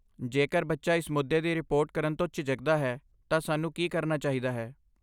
ਜੇਕਰ ਬੱਚਾ ਇਸ ਮੁੱਦੇ ਦੀ ਰਿਪੋਰਟ ਕਰਨ ਤੋਂ ਝਿਜਕਦਾ ਹੈ ਤਾਂ ਸਾਨੂੰ ਕੀ ਕਰਨਾ ਚਾਹੀਦਾ ਹੈ?